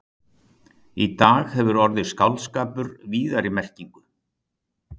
Í dag hefur orðið skáldskapur víðari merkingu.